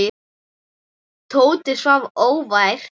Tóti svaf óvært.